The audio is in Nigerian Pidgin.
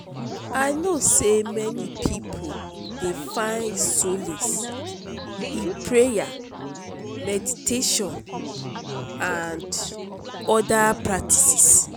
i know say many people dey find solace in prayer meditation and oda spiritual practices.